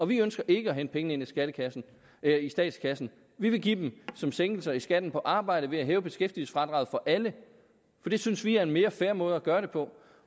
vi ønsker ikke at hente pengene ind i statskassen vi vil give dem som sænkelser i skatten på arbejde ved at hæve beskæftigelsesfradraget for alle det synes vi er en mere fair måde at gøre det på